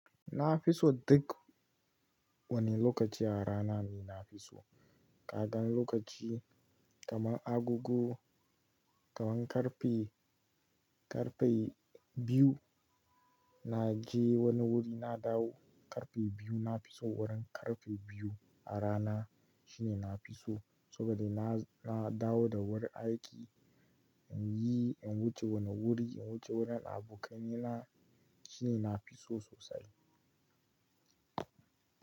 Na fi so duk wani lokaci a rana ne na fi so. Kagan lokaci kaman agogo, kaman karfe, karfe biyu na je wani wuri na dawo karfe biyu na fi so wurin karfe biyu a rana shine na fi so. Saboda na, na dawo da wurin aiki, in yi, in wuce wani wuri, in wuce wurin abokaina shine na fi so sosai.